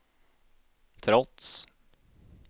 trots